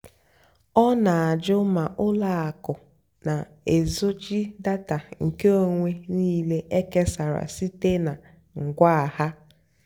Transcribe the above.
ọ́ nà-àjụ́ mà ùlọ àkụ́ nà-èzóchì dátà nkèónwé níìlé ékésárá síte nà ngwá há.